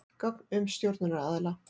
Gögn um stjórnunaraðila.